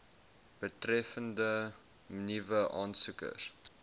betreffende nuwe aansoekers